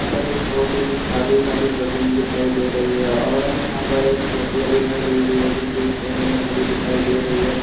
वहाँ पर एक बहोत {बहुत ही खाली-खाली जमीन दिखाई दे रही है और हमें यहाँ पर एक खटिया दिखाई दे रही है जो की एक कोने में खड़ी दिखाई दे रही है।}